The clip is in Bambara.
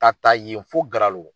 Ka ta yen fo Garalo.